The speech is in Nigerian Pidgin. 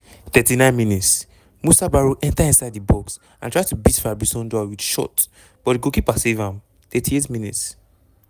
39 mins- musa barrow enta inside di box and try to beat fabrice ondoa wit shot but di goalkeeper save am 38 mins-